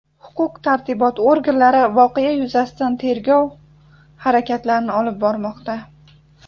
Huquq-tartibot organlari voqea yuzasidan tegrov harakatlarini olib bormoqda.